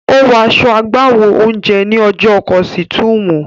Ó wọ aṣọ iṣẹ́ agbáwo oúnjẹ ní ọjọ́ Kọ̀sùtúùmù.